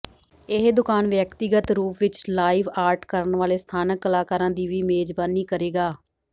ਇਹ ਦੁਕਾਨ ਵਿਅਕਤੀਗਤ ਰੂਪ ਵਿੱਚ ਲਾਈਵ ਆਰਟ ਕਰਨ ਵਾਲੇ ਸਥਾਨਕ ਕਲਾਕਾਰਾਂ ਦੀ ਵੀ ਮੇਜ਼ਬਾਨੀ ਕਰੇਗਾ